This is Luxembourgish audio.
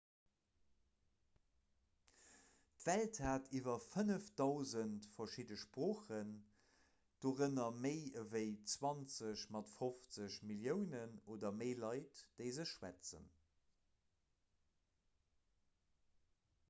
d'welt hat iwwer 5 000 verschidde sproochen dorënner méi ewéi 20 mat 50 milliounen oder méi leit déi se schwätzen